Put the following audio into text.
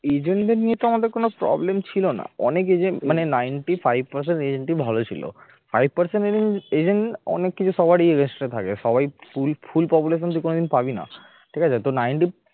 agent নিয়ে তো আমাদের কোন problem ছিল না অনেক agent মানে ninety five percent ভালো ছিল five percent agent agent অনেক কিছু সবারই rest থাকে সবাই full population তুই কোনদিন পাবি না ঠিক আছে তো ninety